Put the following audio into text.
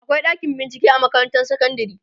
akwai ɗakin bincike a makarantar sekondari